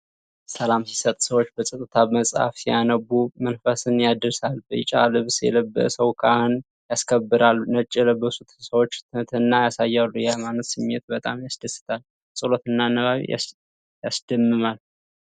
ሰላም ሲሰጥ! ሰዎች በጸጥታ መጽሐፍ ሲያነቡ መንፈስን ያድሳል። ቢጫ ልብስ የለበሰው ካህን ያስከብራል። ነጭ የለበሱት ሰዎች ትህትና ያሳያሉ። የሃይማኖት ስሜት በጣም ያስደስታል። ጸሎትና ንባብ ያስደምማል።